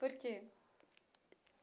Por quê?